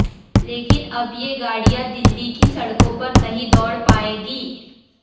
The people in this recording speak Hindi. लेकिन अब ये गाड़ियां दिल्ली की सड़कों पर नहीं दौड़ पाएंगी